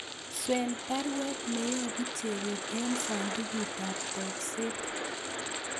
Swen baruet neyobu Chebet en sandugut ab tokset